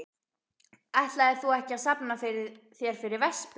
Ætlaðir þú ekki að safna þér fyrir vespu?